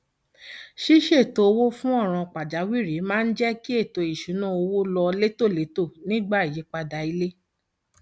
ṣíṣètò owó fún ọràn pàjáwìrì máa ń jẹ kí ètò ìṣúnná owó lọ létòlétò nígbà ìyípadà ilé